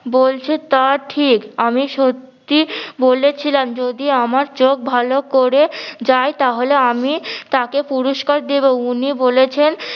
যা বলছে তা ঠিক আমি সত্যি বলেছিলাম যদি আমার চোখ ভালো করে যায় তাহলে আমি তাকে পুরুস্কার দিবো উনি বলেছেন